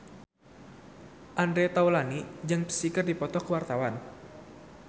Andre Taulany jeung Psy keur dipoto ku wartawan